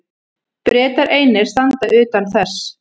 Bretar einir standa utan þess.